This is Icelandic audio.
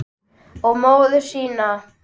Og móður sína.